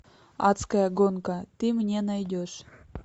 адская гонка ты мне найдешь